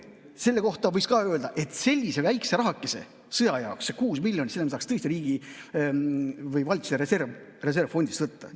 Selle kohta võib öelda, et sellise väikese rahakese sõja jaoks, selle 6 miljonit, me saaks tõesti riigi või valitsuse reservfondist võtta.